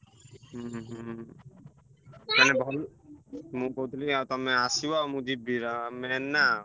ଉହୁଁ ମୁଁ କହୁଥିଲି ତମେ ଆସିବ ମୁଁ ଯିବି main ନା।